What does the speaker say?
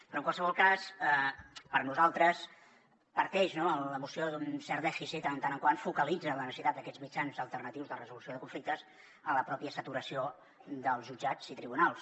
però en qualsevol cas per nosaltres parteix la moció d’un cert dèficit en tant que focalitza la necessitat d’aquests mitjans alternatius de resolució de conflictes en la pròpia saturació dels jutjats i tribunals